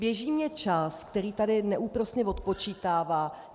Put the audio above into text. Běží mě čas, který tady neúprosně odpočítává.